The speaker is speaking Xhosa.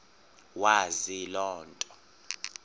wazi loo nto